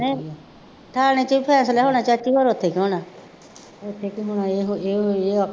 ਨਹੀਂ ਥਾਣੇ ਚ ਵੀ ਫੈਸਲਾ ਹੋਣਾ ਚਾਚੀ ਹੋਰ ਉੱਥੇ ਕੀ ਹੋਣਾ, ਉੱਥੇ ਕੀ ਹੋਣਾ, ਇਹ ਉਹ ਇਹ ਹੋ ਗਿਆ